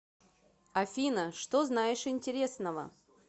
афина что знаешь интересного